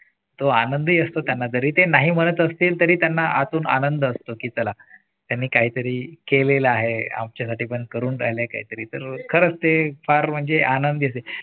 तो आनंदही असतो त्यांना जरी ते नाही म्हणत असतील तरी त्यांना आतून आनंद असतो की चला यांनी काहीतरी केलेला आहे आमच्यासाठी करून राहिले काहीतरी तर खरच ते फार म्हणजे आनंदी